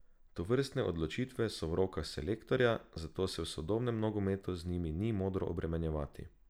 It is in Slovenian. Tovrstne odločitve so v rokah selektorja, zato se v sodobnem nogometu z njimi ni modro obremenjevati.